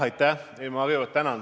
Aitäh!